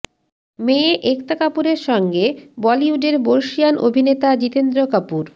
মেয়ে একতা কাপুরের সঙ্গে বলিউডের বর্ষীয়ান অভিনেতা জিতেন্দ্র কাপুর